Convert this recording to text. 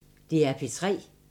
DR P3